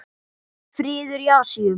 Friður í Asíu.